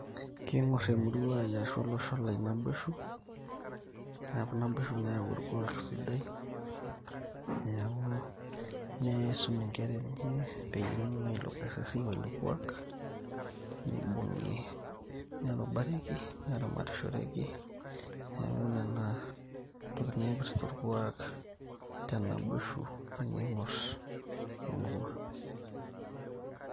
kiing'orr emurua ai ashu olosho lai naboisho neku naboisho nayau orkuak sidai niaku nisum inkera enye peyie ming'uaa ilo kerreri woilo kuak nibung'i nerubareki neramatishoreki neeku nena tokitin naipirrta orkuak tenaboisho ninye ing'orr emurua.